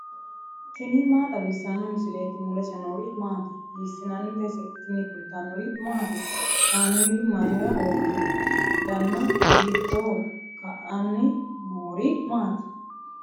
tini maa xawissanno misileeti ? mulese noori maati ? hiissinannite ise ? tini kultannori maati? Kaameelu mayiira uurinno? danna hiittoho? Ka'anni noori maatti?